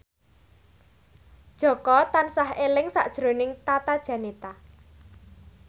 Jaka tansah eling sakjroning Tata Janeta